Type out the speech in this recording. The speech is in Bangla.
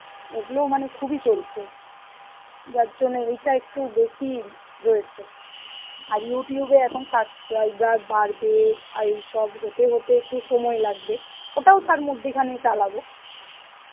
এইগুলো মানে খুব ই চলছে যার জন্যে এইটা একটু বেশি রয়েছে, আর Youtube এ এখন subscriber বাড়বে আর এই সব হতে হতে একটু সময় লাগবে ওটাও মদ্দিখানেই চালাব